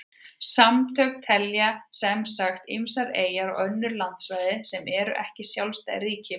Samtökin telja sem sagt ýmsar eyjar og önnur landsvæði sem ekki eru sjálfstæð ríki með.